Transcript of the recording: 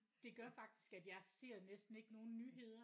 Det gør faktisk at jeg ser næsten ikke nogen nyheder